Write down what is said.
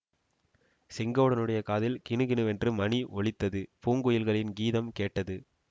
செங்கோடனுடைய காதில் கிணுகிணுவென்று மணி ஒலித்தது பூங்குயில்களின் கீதம் கேட்டது